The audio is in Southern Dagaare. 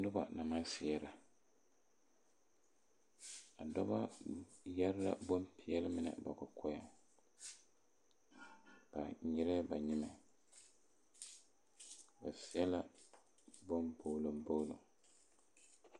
Noba na seɛrɛ a dɔba yɛre la boŋ peɛle mine ba kɔkɔɛŋ ba nyirɛɛ ba nyimɛ ba seɛ la boŋ kpogloŋkpogloŋ.